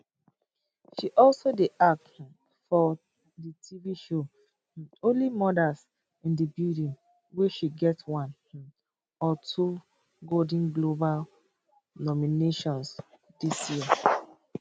she also dey act um for di tv show only murders in di building wey she get one um of two golden globe nominations dis year